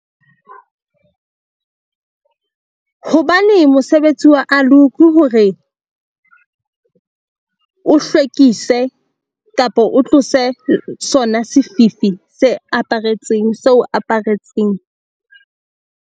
Hobane mosebetsi wa aloe ke hore o hlwekise kapa o tlose sona sefifi se aparetseng se o aparetseng.